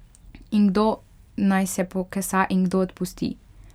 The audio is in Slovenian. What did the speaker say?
In kdo naj se pokesa in kdo odpusti?